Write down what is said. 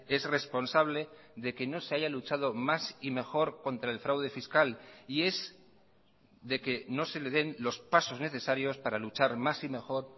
es responsable de que no se haya luchado más y mejor contra el fraude fiscal y es de que no se le den los pasos necesarios para luchar más y mejor